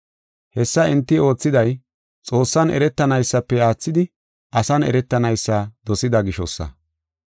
Hessa enti oothiday, Xoossan eretanaysafe aathidi asan eretanaysa dosida gishosa.